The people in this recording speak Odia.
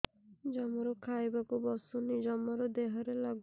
ଜମାରୁ ଖାଇବାକୁ ବସୁନି ଜମାରୁ ଦେହରେ ଲାଗୁନି